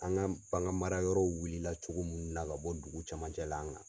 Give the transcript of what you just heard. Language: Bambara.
An ka panga mara yɔrɔw wuli la cogo munnu na ka bɔ dugu camancɛ la